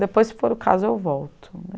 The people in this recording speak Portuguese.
Depois, se for o caso, eu volto né.